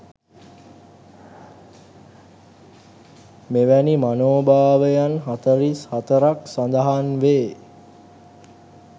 මෙවැනි මනෝභාවයන් 44 ක් සඳහන් වේ.